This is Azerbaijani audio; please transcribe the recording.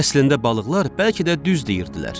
Əslində balıqlar bəlkə də düz deyirdilər.